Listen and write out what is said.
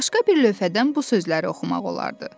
Başqa bir lövhədən bu sözləri oxumaq olardı.